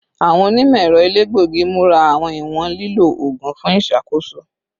Awọn onimọ-ẹrọ elegbogi mura awọn iwọn lilo oogun fun iṣakoso